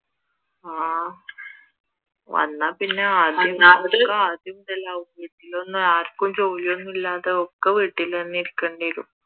ആഹ് വന്നാൽ പിന്നെ ആദ്യം ആർക്കും ഒരു ജോലിയൊന്നുമില്ലാതെ ഒക്കെ വീട്ടിൽ തന്നെയിരിക്കണ്ടി വരും